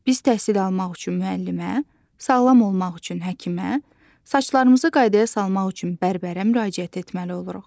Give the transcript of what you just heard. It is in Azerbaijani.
Biz təhsil almaq üçün müəllimə, sağlam olmaq üçün həkimə, saçlarımızı qaydaya salmaq üçün bərbərə müraciət etməli oluruq.